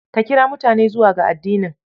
Ka kira mutane zuwa ga addinin.